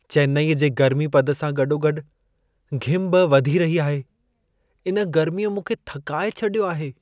चेन्नई जे गर्मी पद सां गॾो गॾि घिम बि वधी रही आहे। इन गर्मीअ मूंखे थकाए छॾियो आहे।